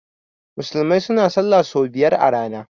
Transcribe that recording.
Musulmai suna sallah so biyar a rana.